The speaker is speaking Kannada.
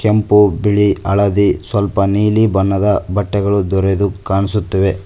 ಕೆಂಪು ಬಿಳಿ ಹಳದಿ ಸ್ವಲ್ಪ ನೀಲಿ ಬಣ್ಣದ ಬಟ್ಟೆಗಳು ದೊರೆದು ಕಾಣಸುತ್ತವೆ.